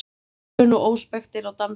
Ölvun og óspektir á dansleik